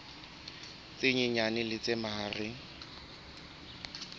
tse nyenyane le tse mahareng